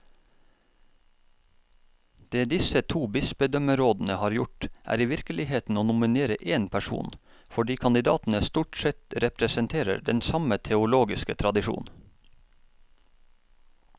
Det disse to bispedømmerådene har gjort, er i virkeligheten å nominere én person, fordi kandidatene stort sett representerer den samme teologiske tradisjon.